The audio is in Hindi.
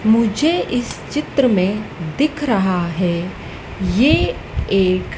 मुझे इस चित्र में दिख रहा है ये एक--